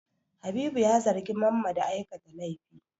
Habibu ya zargi Mamma da aikata laifi.